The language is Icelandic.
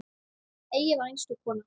Eyja var einstök kona.